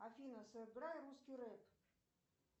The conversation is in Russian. афина сыграй русский рэп